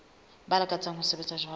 ba lakatsang ho sebetsa jwalo